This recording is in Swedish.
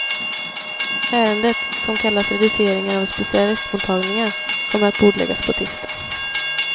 Ärendet, som kallas reduceringar av specialistmottagningar, kommer att bordläggas på tisdag.